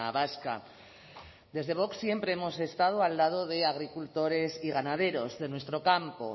vasca desde vox siempre hemos estado al lado de agricultores y ganaderos de nuestro campo